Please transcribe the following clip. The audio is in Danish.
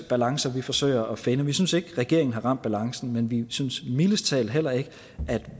balancer vi forsøger at finde vi synes ikke regeringen har ramt balancen men vi synes mildest talt heller ikke at